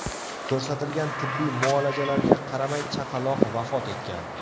Ko‘rsatilgan tibbiy muolajalarga qaramay chaqaloq vafot etgan.